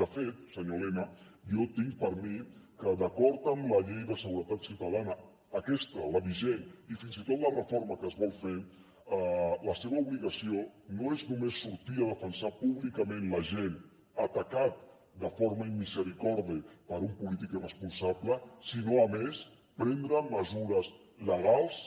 de fet senyor elena jo tinc per mi que d’acord amb la llei de seguretat ciutadana aquesta la vigent i fins i tot la reforma que es vol fer la seva obligació no és només sortir a defensar públicament l’agent atacat de forma inmisericorde per un polític irresponsable sinó a més prendre mesures legals